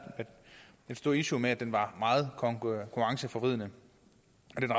et stort issue med at den var meget konkurrenceforvridende